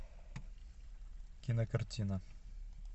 кинокартина